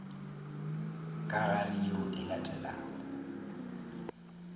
ka gare yeo e latelago